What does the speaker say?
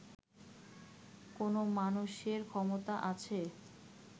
কোনও মানুষের ক্ষমতা আছে